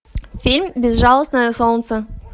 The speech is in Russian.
фильм безжалостное солнце